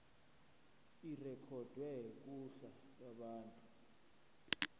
irekhodwe kuhla lwabantu